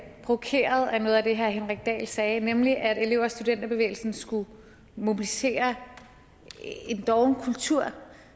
provokeret af noget af det herre henrik dahl sagde nemlig at elev og studenterbevægelsen skulle mobilisere en doven kultur